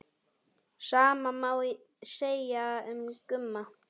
Sama má segja um Gumma.